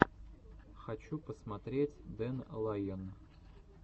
хочу посмотреть дэн лайон